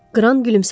Qran gülümsədi.